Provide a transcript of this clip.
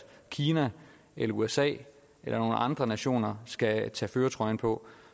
kina eller usa eller andre nationer skal tage førertrøjen på